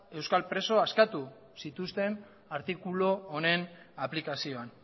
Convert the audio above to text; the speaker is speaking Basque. euskal preso askatu zituzten artikulu aplikazioan